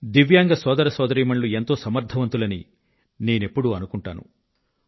దివ్యాంగ సోదర సోదరీమణులు ఎంతో సమర్థవంతులని నేనెప్పుడూ అనుకుంటాను